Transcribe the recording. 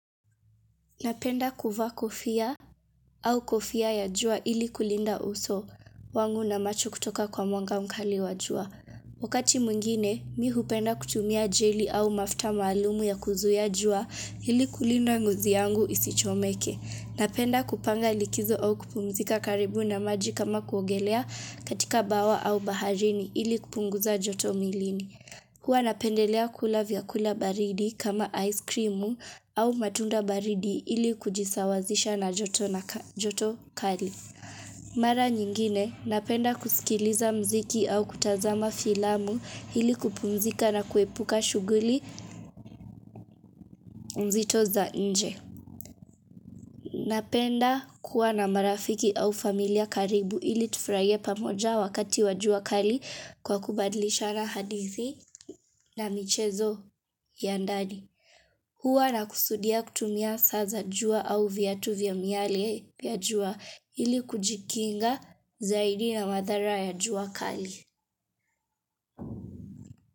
Napenda kuvaa kofia au kofia ya jua ili kulinda uso wangu na macho kutoka kwa mwanga mkali wa jua. Wakati mwingine, mi hupenda kutumia jeli au mafuta maalumu ya kuzuia jua ili kulinda ngozi yangu isichomeke. Napenda kupanga likizo au kupumzika karibu na maji kama kuogelea katika bawa au baharini ili kupunguza joto mwilini. Huwa napendelea kula vyakula baridi kama aiskrimu au matunda baridi ili kujisawazisha na joto kali. Mara nyingine, napenda kusikiliza mziki au kutazama filamu ili kupumzika na kuepuka shughuli mzito za nje. Napenda kuwa na marafiki au familia karibu ili tufurahie pamoja wakati wa jua kali kwa kubadlishana hadithi na michezo ya ndani. Huwa nakusudia kutumia saa za jua au viatu vya miale pia jua ili kujikinga zaidi na madhara ya jua kali.